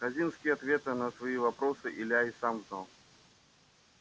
хазинские ответы на свои вопросы илья и сам знал